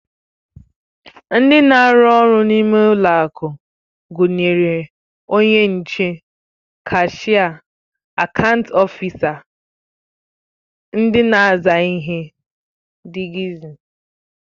Ndị na-arụ ọrụ n'ime ụlọakụ gụnyere onye nche, kashịa, akaant ọfisa, ndị na-aza ihe dgz